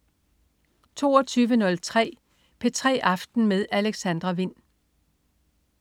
22.03 P3 aften med Alexandra Wind